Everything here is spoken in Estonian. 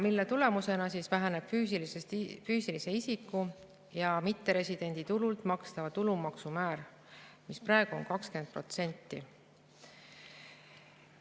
Selle tulemusena väheneb füüsilise isiku ja mitteresidendi tulult makstava tulumaksu määr, mis praegu on 20%.